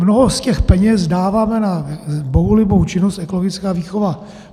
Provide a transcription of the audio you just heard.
Mnoho z těch peněz dáváme na bohulibou činnost ekologická výchova.